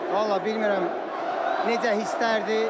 Vallah, bilmirəm necə hisslərdir.